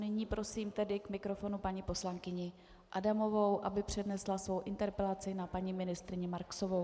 Nyní prosím tedy k mikrofonu paní poslankyni Adamovou, aby přednesla svou interpelaci na paní ministryni Marksovou.